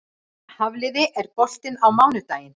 Hafliði, er bolti á mánudaginn?